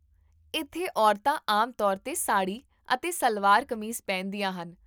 ਇੱਥੇ, ਔਰਤਾਂ ਆਮ ਤੌਰ 'ਤੇ ਸਾੜੀ ਅਤੇ ਸਲਵਾਰ ਕਮੀਜ਼ ਪਹਿਨਦੀਆਂ ਹਨ